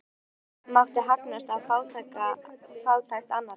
Enginn mátti hagnast á fátækt annarra.